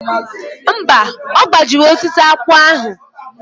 Mba, ọ gbajiri osisi akpụ ahụ.